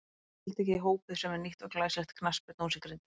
Nánar tiltekið í Hópið sem er nýtt og glæsilegt knattspyrnuhús í Grindavík.